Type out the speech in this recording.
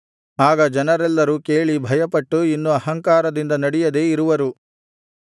ಆಗ ಜನರೆಲ್ಲರೂ ಕೇಳಿ ಭಯಪಟ್ಟು ಇನ್ನು ಅಹಂಕಾರದಿಂದ ನಡೆಯದೆ ಇರುವರು